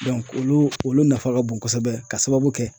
olu olu nafa ka bon kosɛbɛ k'a sababu kɛ